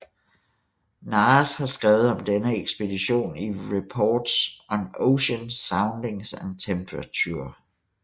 Nares har skrevet om denne ekspedition i Reports on Ocean Soundings and Temperature